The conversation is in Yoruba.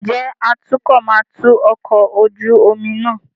Ǹjẹ́ atukọ̀ máa tu ọkọ̀ ojú omi náà?